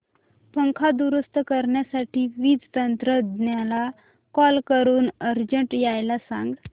पंखा दुरुस्त करण्यासाठी वीज तंत्रज्ञला कॉल करून अर्जंट यायला सांग